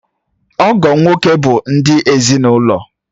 Ọgọ nwoke bụ ndị ezinaụlọ.